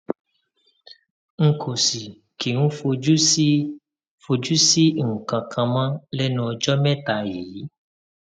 n kò sì kí ń fojú sí fojú sí nǹkan kan mọ lẹnu ọjọ mẹta yìí